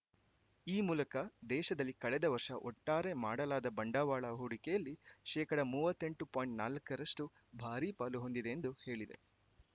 ಈ ಮೂಲಕ ದೇಶದಲ್ಲಿ ಕಳೆದ ವರ್ಷ ಒಟ್ಟಾರೆ ಮಾಡಲಾದ ಬಂಡವಾಳ ಹೂಡಿಕೆಯಲ್ಲಿ ಶೇಕಡಾ ಮೂವತ್ತೆಂಟು ಪಾಯಿಂಟ್ ನಾಲಕರಷ್ಟುಭಾರೀ ಪಾಲು ಹೊಂದಿದೆ ಎಂದು ಹೇಳಿದೆ